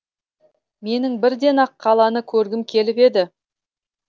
менің бірден ақ қаланы көргім келіп еді